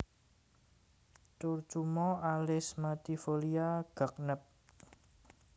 Curcuma alismatifolia Gagnep